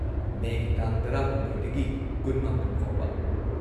ꯃꯦꯒꯤ ꯇꯥꯡ ꯱꯳ꯗꯒꯤ ꯲꯹ ꯐꯥꯎꯕ꯫